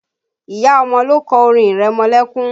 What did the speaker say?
Ìyá ọmọ ló kọ orin ìrẹmọlẹ́kún